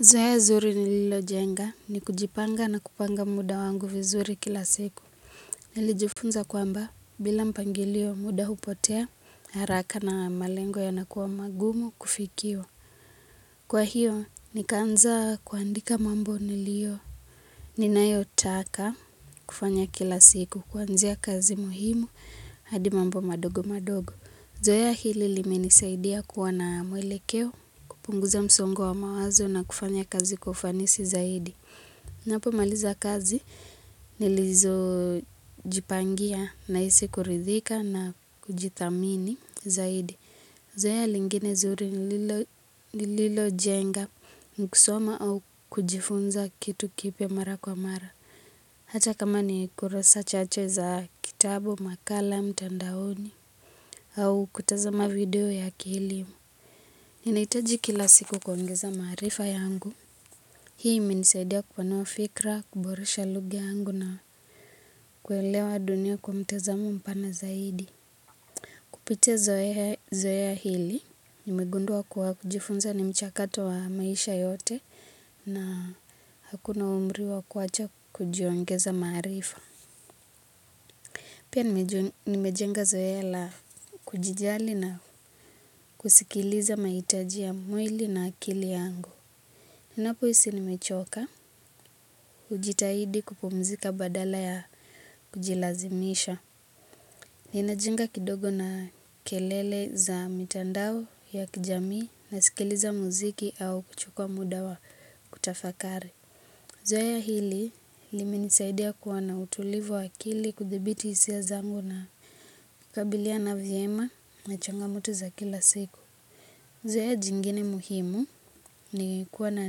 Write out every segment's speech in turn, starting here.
Zoea zuri nililojenga ni kujipanga na kupanga muda wangu vizuri kila siku. Nilijufunza kwamba bila mpangilio muda hupotea haraka na malengo yanakuwa magumu kufikiwa. Kwa hiyo nikaanza kuandika mambo nilio. Ninayotaka kufanya kila siku kuanzia kazi muhimu hadi mambo madogo madogo. Zoea hili limenisaidia kuwa na mwelekeo kupunguza msongo wa mawazo na kufanya kazi kwa ufanisi zaidi. Napomaliza kazi nilizojipangia nahisi kuridhika na kujithamini zaidi. Zoea lingine zuri nililojenga ni kusoma au kujifunza kitu kipya mara kwa mara. Hata kama ni kurasa chache za kitabu makala mtandaoni au kutazama video ya kielimu. Ninahitaji kila siku kuongeza maarifa yangu. Hii imenisaidia kupanua fikra, kuboresha lugha yangu na kuelewa dunia kwa mtazamo mpana zaidi. Kupitia zoea hili, nimegundua kuwa kujifunza ni mchakato wa maisha yote na hakuna umri wa kuwacha kujiongeza maarifa. Pia nimejenga zoea la kujijali na kusikiliza mahitaji ya mwili na akili yangu. Ninapohisi nimechoka hujitahidi kupumzika badala ya kujilazimisha. Ninajenga kidogo na kelele za mitandao ya kijamii nasikiliza muziki au kuchukua muda wa kutafakari. Zoea hili limenisaidia kuwa na utulivu wa akili kuthibiti hisia zangu na kukabiliana vyema na changamoto za kila siku. Zoea jingine muhimu ni kuwa na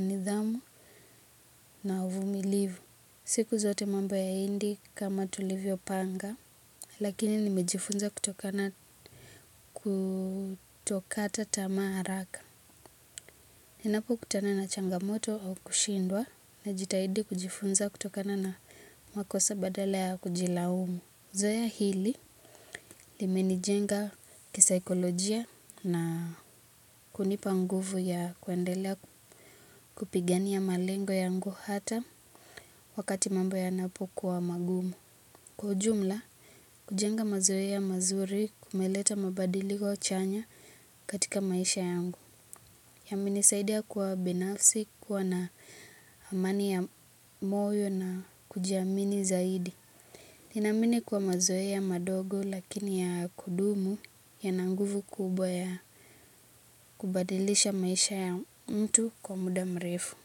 nidhamu na uvumilivu. Siku zote mambo hayaendi kama tulivyopanga, lakini nimejifunza kutokata tamaa haraka. Ninapokutana na changamoto au kushindwa najitahidi kujifunza kutokana na makosa badala ya kujilaumu. Zoea hili limenijenga kisaikolojia na kunipa nguvu ya kuendelea kupigania malengo yangu hata wakati mambo yanapokuwa magumu. Kwa ujumla, kujenga mazoea mazuri kumeleta mabadiliko chanya katika maisha yangu. Yamenisaidia kuwa binafsi, kuwa na amani ya moyo na kujiamini zaidi. Ninaamini kuwa mazoea madogo lakini ya kudumu yana nguvu kubwa ya kubadilisha maisha ya mtu kwa muda mrefu.